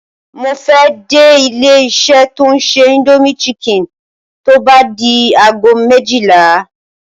Mo fẹ́ dé ilé-iṣẹ́ tó ń ṣe Indomie Chicken tó bá di aago méjìlá.